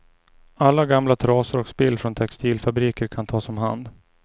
Alla gamla trasor och spill från textilfabriker kan tas om hand.